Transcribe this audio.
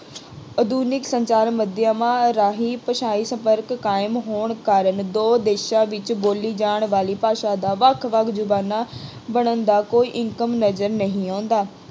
ਆਧੁਨਿਕ ਸੰਚਾਰ ਮਾਧਿਅਮਾਂ ਰਾਹੀਂ ਭਾਸ਼ਾਈ ਸੰਪਰਕ ਕਾਇਮ ਹੋਣ ਕਾਰਨ ਦੋ ਦੇਸ਼ਾਂ ਵਿੱਚ ਬੋਲੀ ਜਾਣ ਵਾਲੀ ਭਾਸ਼ਾ ਦਾ ਵੱਖ ਵੱਖ ਜ਼ੁਬਾਨਾਂ ਬਣਨ ਦਾ ਕੋਈ income ਨਜ਼ਰ ਨਹੀਂ ਆਉਂਦਾ।